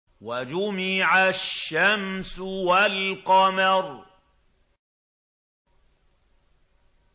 وَجُمِعَ الشَّمْسُ وَالْقَمَرُ